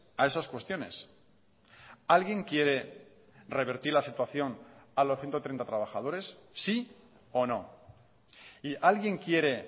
a esas cuestiones alguien quiere revertir la situación a los ciento treinta trabajadores sí o no y alguien quiere